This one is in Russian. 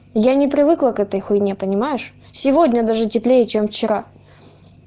я не привыкла к этой хуйне понимаешь сегодня даже теплее чем вчера